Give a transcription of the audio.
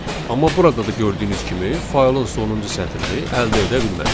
Amma burada da gördüyünüz kimi faylın sonuncu sətrini əldə edə bilmədik.